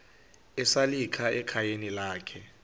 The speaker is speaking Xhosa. esalika ekhayeni lakhe